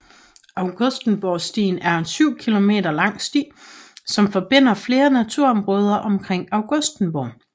Augustenborgstien er en 7 km lang sti som forbinder flere naturområder omkring Augustenborg